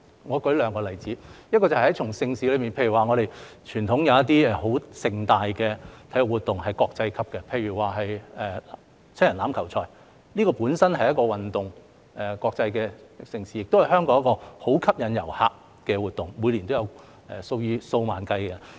我舉兩個例子，在盛事方面，有些十分盛大的傳統體育活動，是國際級的，例如香港國際七人欖球賽本身是一項運動、一項國際盛事，亦是香港一個相當吸引遊客的活動，每年有數以萬計的人參與。